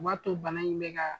U b'a to bana in bɛ ka